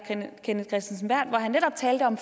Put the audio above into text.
kenneth kristensen berth hvor han netop talte om